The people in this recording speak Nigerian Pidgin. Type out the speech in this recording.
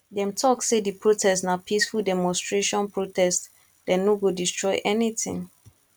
dem tok sey di protest na peaceful demonstration protest dem no go destroy anytin